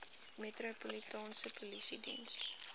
metropolitaanse polisie diens